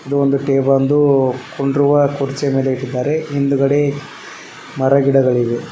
ಇದು ಒಂದು ಟೇಬಲ್ ಒಂದು ಕುಂಡ್ರುವ ಕುರ್ಚಿ ಬೇರ ಇಟ್ಟಿದ್ದಾರೆ ಹಿಂದಗಡೆ ಮರಗಿಡಗಳಿವೆ.